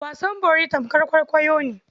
Wasan bori tamkar kwaikwayo ne.